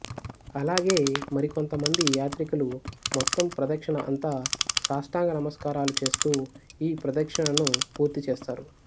అలాగే మరికొంతమంది యాత్రికులు మొత్తం ప్రదక్షిణ అంతా సాష్టాంగ నమస్కారాలు చేస్తూ ఈ ప్రదక్షిణను పూర్తిచేస్తారు